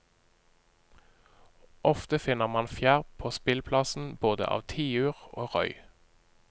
Ofte finner man fjær på spillplassen, både av tiur og røy.